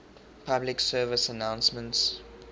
public service announcements